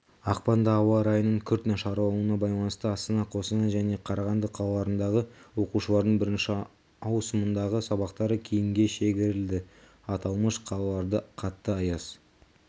ақпанда ауа райының күрт нашарлауына байланысты астана қостанай және қарағанды қалаларындағы оқушылардың бірінші ауысымындағы сабақтары кейінге шегерілді аталмыш қалаларда қатты аяз